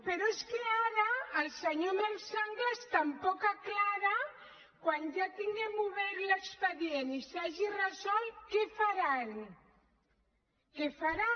però és que ara el senyor marc sanglas tampoc aclareix quan ja tinguem obert l’expedient i s’hagi resolt què faran què faran